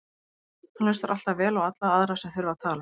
Hann hlustar alltaf vel á alla aðra sem þurfa að tala.